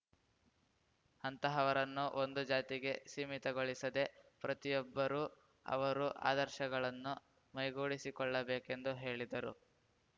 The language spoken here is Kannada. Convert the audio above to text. ಅಂತಹವರನ್ನು ಒಂದು ಜಾತಿಗೆ ಸೀಮಿತಗೊಳಿಸದೆ ಪ್ರತಿಯೊಬ್ಬರೂ ಅವರು ಆದರ್ಶಗಳನ್ನು ಮೈಗೂಡಿಸಿ ಕೊಳ್ಳಬೇಕೆಂದು ಹೇಳಿದರು